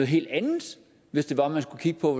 helt andet hvis det var at man skulle kigge på